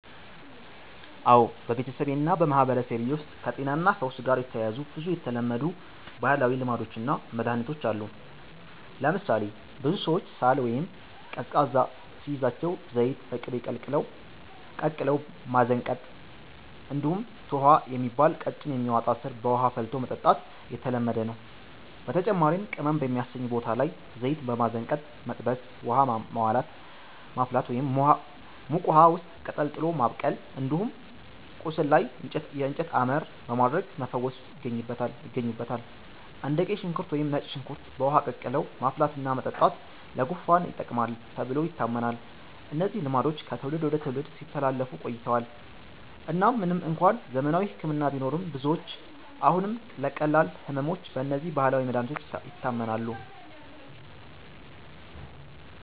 አዎ፣ በቤተሰቤ እና በማህበረሰቤ ውስጥ ከጤናና ፈውስ ጋር የተያያዙ ብዙ የተለመዱ ባህላዊ ልማዶች እና መድኃኒቶች አሉ። ለምሳሌ ብዙ ሰዎች ሳል ወይም ቀዝቃዛ ሲይዛቸው ዘይት በቅቤ ቀቅለው ማዘንገጥ፣ እንዲሁም “ቶኅ” የሚባል ቀጭን የሚያወጣ ሥር በውሃ ፈልቶ መጠጣት የተለመደ ነው። በተጨማሪም ቅመም በሚያሰኝ ቦታ ላይ ዘይት በማዘንገጥ መጥበስ፣ “ውሃ ማዋላት” (ሙቅ ውሃ ውስጥ ቅጠል ጥሎ ማበቀል)፣ እንዲሁም ቆስል ላይ “እንጨት አመር” በማድረግ መፈወስ ይገኙበታል። እንደ ቀይ ሽንኩርት ወይም ነጭ ሽንኩርት በውሃ ቀቅለው ማፍላትና መጠጣት ለጉንፋን ይጠቅማል ተብሎ ይታመናል። እነዚህ ልማዶች ከትውልድ ወደ ትውልድ ሲተላለፉ ቆይተዋል እና ምንም እንኳን ዘመናዊ ሕክምና ቢኖርም፣ ብዙዎች አሁንም ለቀላል ሕመሞች በእነዚህ ባህላዊ መድኃኒቶች ይታመናሉ።